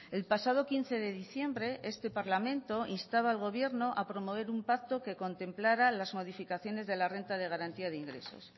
el pasado quince de diciembre este parlamento instaba al gobierno a promover un pacto que contemplara las modificaciones de la renta de garantía de ingresos